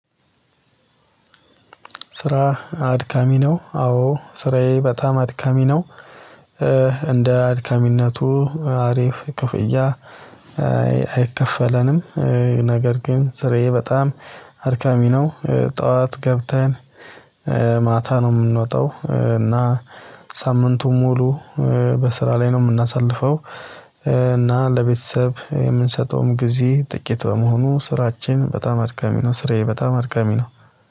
ስራህ አድካሚ ነው አዎ ስራዬ በጣም አድካሚ ነው አድካሚነቱ አሪፍ ክፍያ አይከፈለንም ነገር ግን ስራዬ በጣም አድካሚ ነው። ጠዋት ገብተን ማታ ነው የምንወጣው እና ሳምንቱን ሙሉ በስራ ላይ ነው የምናሳልፈው። እና ለቤተሰብ የምንሰጠውም ጊዜ ጥቂት በመሆኑ ስራችን በጣም አድካሚ ነው። ስራዬ በጣም አድካሚ ነው።